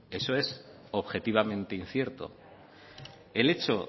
bueno eso es objetivamente incierto el hecho